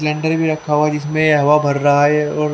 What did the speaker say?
cylinder भी रखा हुआ है जिसमे हवा भर रहा है और--